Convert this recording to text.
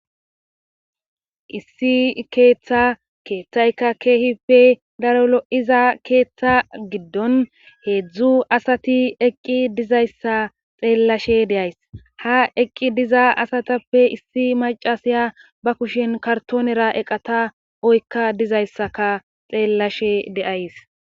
issi keeththa keeththayka keehippe daro lo7iza keeththa giddon heedzdzu asati eqqi dizayssa xeellashe deays ha eqqi diza asatappe issi macasiya ba kushen kartoonera eqata oykka dizayssaka xeellashe deays